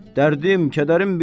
Dərdim, kədərim böyük.